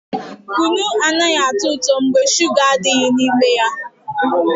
Kunu anaghị atọ ụtọ mgbe shuga adịghị n'ime ya